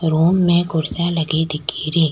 Room में कुर्सियां लगी दिख री।